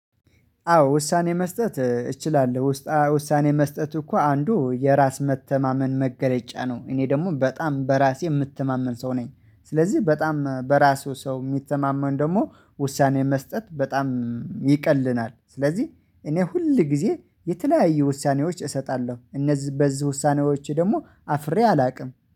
አዎ ውሳኔ መስጠት እችላለሁ ውሳኔ መስጠት እኮ አንዱ የራስ መተማመን መገለጫ ነው እኔ ደግሞ በጣም በራሴ የምትማመን ሰው ነኝ። ስለዚህ በጣም በራሱ ሰው የሚተማመን ደግሞ ውሳኔ መስጠት በጣም ይቀልናል። ስለዚህ እኔ ሁል ጊዜ የተለያየ ውሳኔዎች እሰጣለሁ። እነዚህ በዚህ ውሳኔዎች ደግሞ አፍሬ አላውቅም